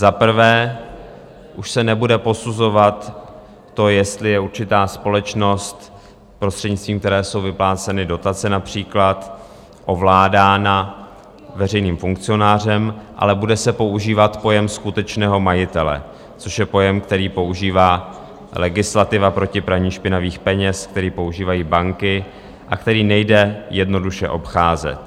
Za prvé, už se nebude posuzovat to, jestli je určitá společnost, prostřednictvím které jsou vypláceny dotace například, ovládána veřejným funkcionářem, ale bude se používat pojem skutečného majitele, což je pojem, který používá legislativa proti praní špinavých peněz, který používají banky a který nejde jednoduše obcházet.